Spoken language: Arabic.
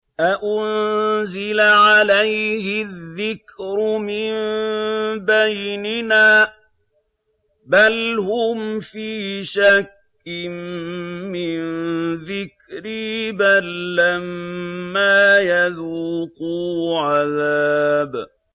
أَأُنزِلَ عَلَيْهِ الذِّكْرُ مِن بَيْنِنَا ۚ بَلْ هُمْ فِي شَكٍّ مِّن ذِكْرِي ۖ بَل لَّمَّا يَذُوقُوا عَذَابِ